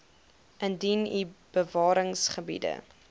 indien u bewaringsgebiede